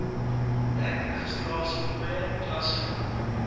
dek registrasiefooie klasgeld